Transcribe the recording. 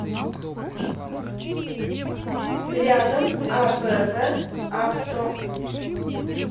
рядом абв авто